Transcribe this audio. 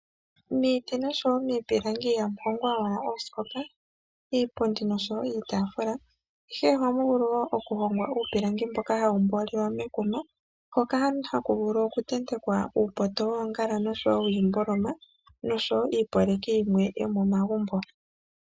Miiti ihamu hongwa owala oosikopa, iipundi nosho woo iitaafula ihe, ohamu vulu woo okuhongwa uupilangi mboka hawu mangelwa mekuma hoka haku vulu okuntentekwa uupoto woongala nosho woo iinima yilwe yomomagumbo.